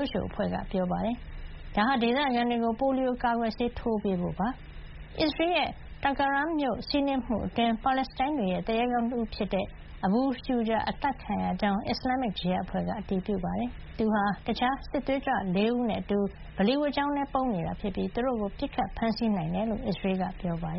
WHO ကမ္ဘာ့ကျန်းမာရေး အဖွဲ့ကြီးက ပြောပါတယ်။ ဒါဟာ ဒေသခံတွေအတွက် ပိုလီယိုကာကွယ်ဆေးထိုးပေးမယ့် ကုလကျန်းမာရေးတာဝန်ခံတွေ ဝင်ရောက်နိုင်ဖို့ ဖြစ်ပါတယ်။ အစ္စရေးရဲ့ Tulkarem မြို့ စီးနင်းမှုအတွင်း ပါလက်စတိုင်းတွေရဲ့ သူရဲကောင်းတဦးဖြစ်တဲ့ အဘူ ရှုဂျာ လို့ အများသိကြတဲ့ မိုဟာမက် ဂျေဘာ အသတ်ခံရကြောင်း အစ္စလာမ်မစ် ဂျီဟတ်အဖွဲ့ကလည်း အတည်ပြုပါတယ်။ သူဟာ တခြားစစ်သွေးကြွ ၄ ဦးနဲ့ အတူ ဗလီဝတ်ကျောင်းထဲ ပုန်းနေခဲ့တာဖြစ်ပြီး သူတို့ကို ကြာသပတေးနေ့မှာ ပစ်ခတ် ဖမ်းဆီးနိုင်ခဲ့တယ်လို့ အစ္စရေးက ပြောပါတ